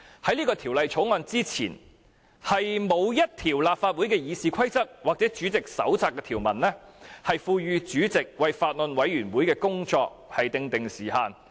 在這項《條例草案》前，立法會《議事規則》或委員會主席手冊均沒有條文賦予法案委員會主席為工作訂定限期。